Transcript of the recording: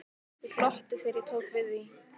Ég glotti þegar ég tók við því.